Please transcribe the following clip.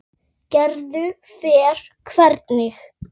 Gerður fer hvergi.